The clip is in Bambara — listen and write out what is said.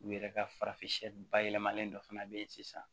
U yɛrɛ ka farafin siyɛ bayɛlɛmalen dɔ fana be yen sisan